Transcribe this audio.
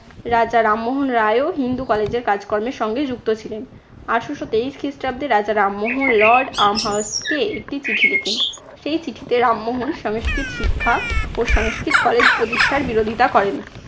রাজা রামমোহন রায়ও হিন্দু college এর কাজকর্মের সঙ্গে যুক্ত ছিলেন। আঠারশো তেইশ খ্রিস্টাব্দে রাজা রামমোহন lord আর্মহার্লস্টকে একটি চিঠি লিখেন। সেই চিঠিতে রামমোহন সংস্কৃত শিক্ষা ও সংস্কৃত college প্রতিষ্ঠার বিরোধিতা করেন।